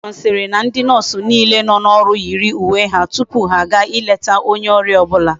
Matron siri na ndi nurse niile no oru yiri uwe ha tupu ha a ga ileta onye oria obula